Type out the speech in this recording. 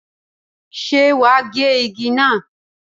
Ṣé wà á gé igi náà?